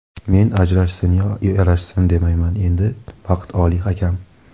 Men ajrashsin yo yarashsin, demayman, endi vaqt oliy hakam.